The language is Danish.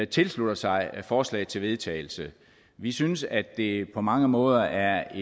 tilslutter sig forslaget til vedtagelse vi synes at det på mange måder er